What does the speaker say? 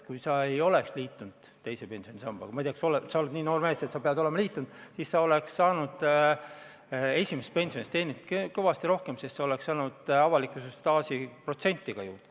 Kui sa ei oleks liitunud teise pensionisambaga – ma ei tea, kas sa oled, sa oled nii noor mees, et pead olema liitunud –, siis sa oleks saanud esimesse pensionisambasse teenida kõvasti rohkem, sest sa oleks saanud avaliku teenistuse staažist tulenevat protsenti ka juurde.